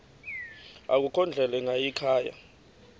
akukho ndlela ingayikhaya